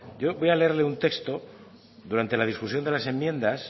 yo voy a leerle un texto durante la discusión de las enmiendas